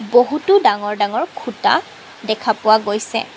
বহুতো ডাঙৰ ডাঙৰ খুঁটা দেখা পোৱা গৈছে।